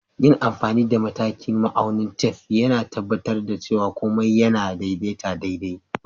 Yin amfani da matakin da ma'aunin tef, yAna tabbatar da cewa komai yAna daidaita daidai.